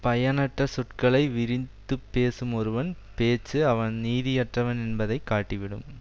பயனற்ற சொற்களை விரின்த்துப் பேசும் ஒருவன் பேச்சு அவன் நீதியற்றவன் என்பதை காட்டிவிடும்